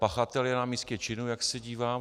Pachatel je na místě činu, jak se dívám.